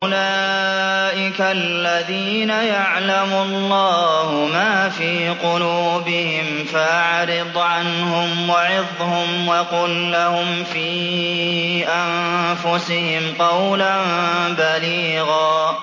أُولَٰئِكَ الَّذِينَ يَعْلَمُ اللَّهُ مَا فِي قُلُوبِهِمْ فَأَعْرِضْ عَنْهُمْ وَعِظْهُمْ وَقُل لَّهُمْ فِي أَنفُسِهِمْ قَوْلًا بَلِيغًا